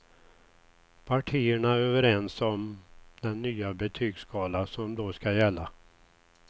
Partierna är överens om den nya betygsskala som då skall gälla.